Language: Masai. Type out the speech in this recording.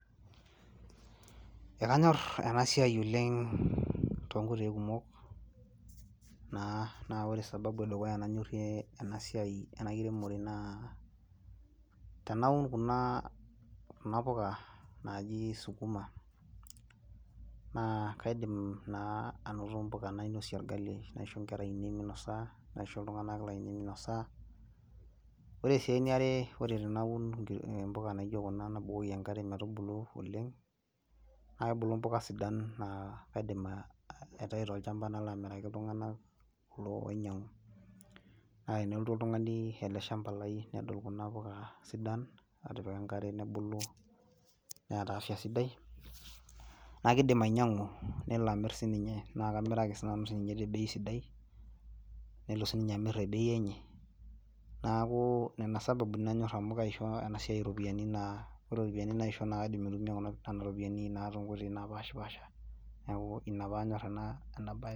Ekanyorr ena siai oleng toonkoitoi kumok naa, naa ore sababu e dukuya nanyorrie ena siai ena kiremore naa tenaun kuna puka naaji sukuma naa kaidim naa anoto mbuka nainosie orgali, naisho nkera ainei minosa, naisho iltung'anak lainei minosa. Ore sii eniare ore tenaun mbuka naijo kuna nabukoki enkare metubulu oleng, naai ebulu mbuka sidain naa kaidim aitai tolchamba nalo amiraki iltung'anak kulo oinyang'u. Naa enelotu oltung'ani ele shamba lai nedol kuna puka sidan atipika enkare nebulu neeta afya sidai naa kiidim ainyang'u nelo amirr ninye, naa kamiraki sii nanu ninye te bei sidai, nelo siininye amirr te bei enye. Neeku nena isababuni nanyorr amu kaisho ena siai iropiyiani naa ore iropiyiani naisho naa kaidim aitumia nena ropiyiani naa toonkoitoi naapaasha. Neeku ina paanyorr ena bae